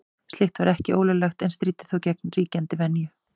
Slíkt var ekki ólöglegt en stríddi þó gegn ríkjandi venju.